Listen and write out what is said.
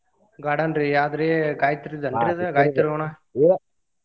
Garden ರೀ ಯಾವ್ದರಿ ಗಾಯತ್ರಿದಲ್ ರೀ ಅದ್ ಗಾಯತ್ರಿ .